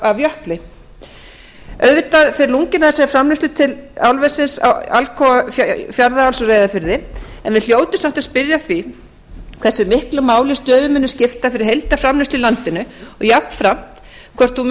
af j afli auðvitað fer lunginn af þessari framleiðslu til álversins alcoa fjarðaáls á reyðarfirði en við hljótum samt að spyrja að því hversu miklu máli stöðin muni skipta fyrir heildarframleiðslu í landinu og jafnframt hvort hún muni